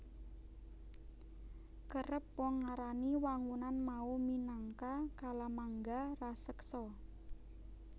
Kerep wong ngarani wangunan mau minangka kalamangga raseksa